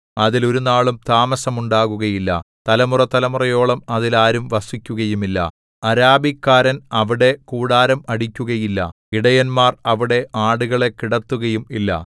അതിൽ ഒരുനാളും താമസമുണ്ടാവുകയില്ല തലമുറതലമുറയോളം അതിൽ ആരും വസിക്കുകയുമില്ല അരാബിക്കാരൻ അവിടെ കൂടാരം അടിക്കുകയില്ല ഇടയന്മാർ അവിടെ ആടുകളെ കിടത്തുകയും ഇല്ല